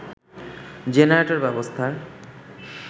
generator ব্যবস্থার